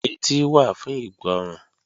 Etí wà fún ìgbọ́ràn